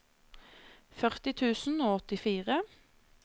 førti tusen og åttifire